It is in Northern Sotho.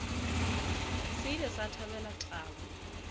se ile sa thabela taba